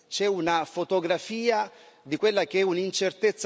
di quella che è un'incertezza totale che riguarda il suo governo.